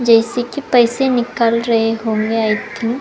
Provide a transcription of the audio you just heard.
जैसे कि पैसे निकाल रहे होंगे आई थिंक ।